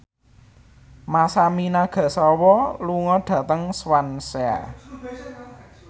Masami Nagasawa lunga dhateng Swansea